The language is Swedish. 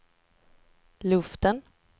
luften